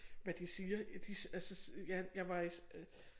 Hvad de siger de altså ja jeg var i øh